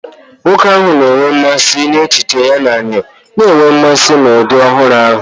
Nwoke ahụ na-enwe mmasị n'echiche ya na enyo, na-enwe mmasị na ụdị ọhụrụ ahụ.